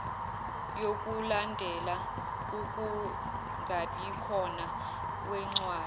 yokulandela ukungabikhona kwencwadi